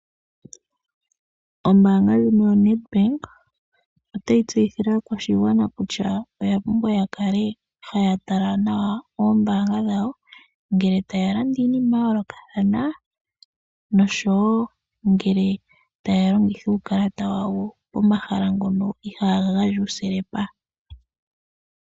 Ombaanga ndjino yoNedbank otayi tseyithile aaakwashigwana kutya oya pumbwa ya kale haya tala nawa oombaanga dhawo, ngele taya landa iinima ya yoolokathana nosho wo ngele taya longitha uukalata wawo pomahala ngono ihaa ga gandja uusilepa.